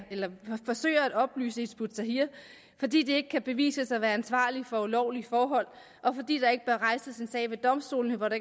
forsøge at opløse hizb ut tahrir fordi de ikke kan bevises at være ansvarlige for ulovlige forhold og fordi der ikke bør rejses en sag ved domstolene når